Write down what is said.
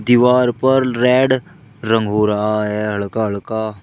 दीवार पर रेड रंग हो रहा है हड़का हड़का --